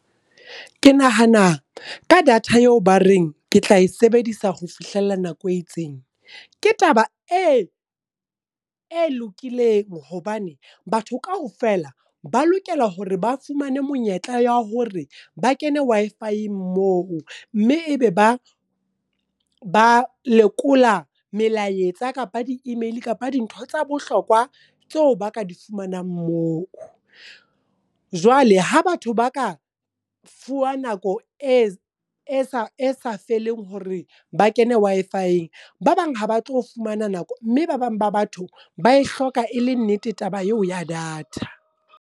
Ke nahana ka data eo ba reng ke tla e sebedisa ho fihlella nako e itseng. Ke taba e e lokileng hobane, batho kaofela ba lokela hore ba fumane monyetla ya hore ba kene Wi-Fi-eng moo. Mme e be ba ba lekola melaetsa kapa di email kapa dintho tsa bohlokwa tseo ba ka di fumanang moo. Jwale ha batho ba ka fuwa nako e sa feleng hore ba kene Wi-Fi-eng, ba bang ha ba tlo fumana nako mme ba bang ba batho ba e hloka e le nnete taba eo ya data.